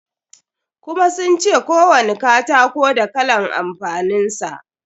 Kuma sun ce kowani katako da kalan amfanin sa.